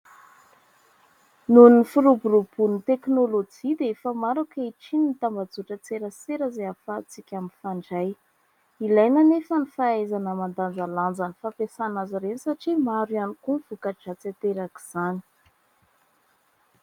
Noho ny firoboromboan'ny teknolojia dia efa maro ankehitriny ny tambazotran-tserasera izay ahafantsika mifandray, ilaina anefa ny fahaizana mandanjalanja ny fampiasana azy ireny satria maro ihany koa ny voka-dratsy aterak'izany.